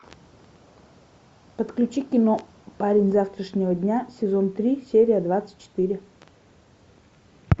подключи кино парень завтрашнего дня сезон три серия двадцать четыре